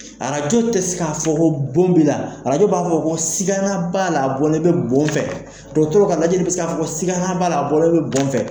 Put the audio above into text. Arajo te se ka fɔ ko bon b'i la, arajo b'a fɔ ko sigana b'a la a bɔlen bɛ bon fɛ. Dɔgɔtɔrɔw ka lajɛ be se ka fɔ ko sikana b'a la, a bɔlen bɛ bon fɛ.